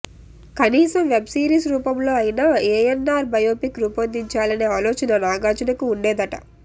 కనీసం web series రూపంలో అయినా ఏఎన్నార్ బయోపిక్ రూపిందించాలనే ఆలోచన నాగార్జునకు ఉండేదట